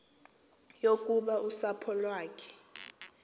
yokuba usapho lwakhe